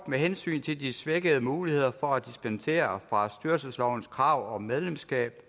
med hensyn til de svækkede muligheder for at dispensere fra styrelseslovens krav om medlemskab